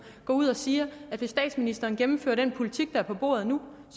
går ud og siger at hvis statsministeren gennemfører den politik der er på bordet nu